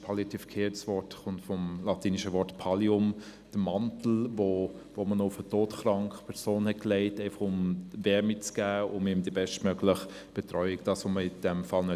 «Palliativ» kommt vom lateinischen Wort «Pallium», der Mantel, den man auf eine todkranke Person legte, um ihr Wärme und die in diesem Fall bestmögliche Betreuung zu geben.